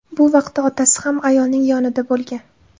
Bu vaqtda otasi ham ayolning yonida bo‘lgan.